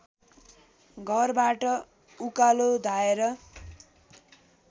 घरबाट उकालो धाएर